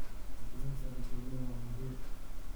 Wacyigelinta dadweynuhu waa muhiim.